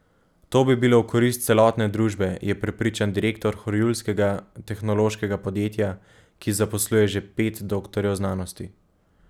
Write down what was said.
To bi bilo v korist celotne družbe, je prepričan direktor horjulskega tehnološkega podjetja, ki zaposluje že pet doktorjev znanosti.